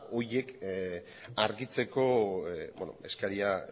horiek argitzeko eskaria